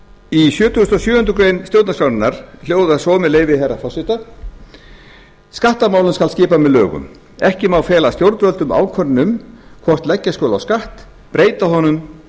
í sjötugasta og sjöundu grein stjórnarskrárinnar hljóðar svo með leyfi herra forseta skattamálum skal skipa með lögum ekki má fela stjórnvöldum ákvörðun um hvort leggja skuli á skatt breyta honum